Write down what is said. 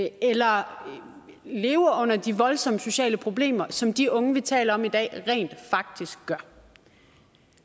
eller lever under de voldsomme sociale problemer som de unge vi taler om i dag rent faktisk gør